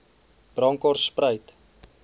bronkhortspruit